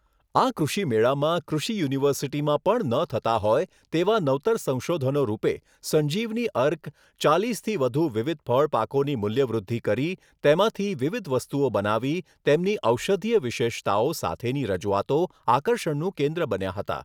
આ કૃષિમેળામાં કૃષિ યુનિવર્સિટીમાં પણ ન થતા હોય તેવા નવતર સંસોધનો રૂપે સંજીવની અર્ક ચાલીસથી વધુ વિવિધ ફળ પાકોની મુલ્યવૃદ્ધી કરી તેમાંથી વિવિધ વસ્તુઓ બનાવી તેમની ઔષધીય વિશેષતાઓ સાથેની રજુઆતો આકર્ષણનું કેન્દ્ર બન્યા હતા.